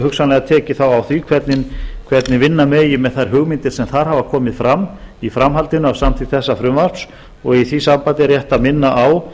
hugsanlega tekið á því hvernig vinna megi með þær hugmyndir sem þar hafa komið fram í framhaldinu af samþykkt þessa frumvarps og í því sambandi er rétt að minna á